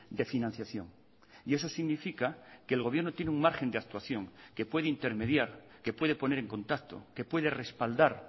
de financiación y eso significa que el gobierno tiene un margen de actuación que puede intermediar que puede poner en contacto que puede respaldar